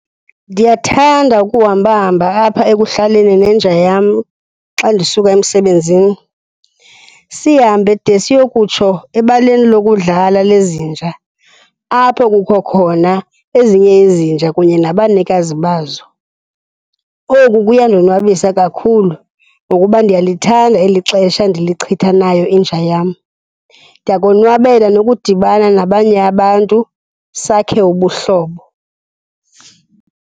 Ndiyathanda ukuhambahamba apha ekuhlaleni nenja yam xa ndisuka emsebenzini, sihambe de siyokutsho ebaleni lokudlala lezinja apho kukho khona ezinye izinja kunye nabanikazi bazo. Oku kuyandonwabisa kakhulu ngokuba ndiyalithanda eli xesha endilichitha nayo inja yam. Ndiyakonwabela nokudibana nabanye abantu sakhe ubuhlobo.